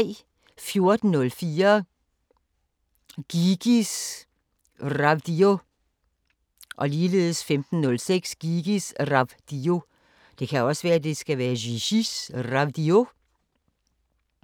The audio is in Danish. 14:04: Gigis Ravdio 15:06: Gigis Ravdio